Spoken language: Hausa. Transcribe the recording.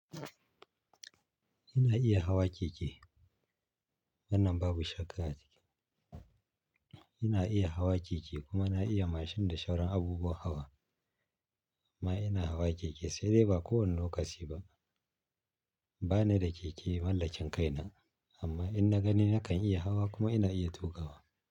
Ina iya hawa keke, wannan babu shakka a ciki. Ina iya hawa keke kuma na iya mashin da shauran abubuwan hawa. Amma ina hawa keke sai dai ba kowane lokaci ba. Ba ni da keke mallakin kaina, amma in na gani nakan iya hawa kuma ina iya tuƙawa.